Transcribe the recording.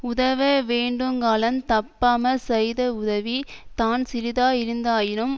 உதவவேண்டுங்காலந் தப்பாமற் செய்தவுதவி தான்சிறிதாயிருந்தாயினும்